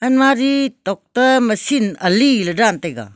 mari tokta machine alih la dan taiga.